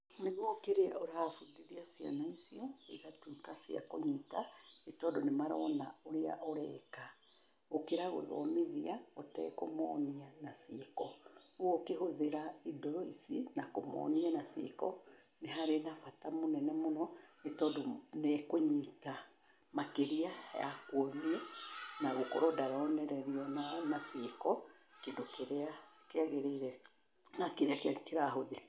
Nĩguo kĩrĩa ũrabundithia ciana icio igatuĩka cia kũnyita, nĩ tondũ nĩ marona ũrĩa ũreka, gũkĩra gũthomithia ũtekũmonia na ciĩko, ũũ ũkĩhũthĩra indo ici, na kũmonia na ciĩko, nĩ harĩ na bata mũnene mũno, nĩ tondũ nĩ kũnyita makĩria ya kuonia na gũkorwo ndaronererio na ciĩko kĩndũ kĩrĩa kĩagĩrĩire na kĩrĩa kĩrahũthĩka.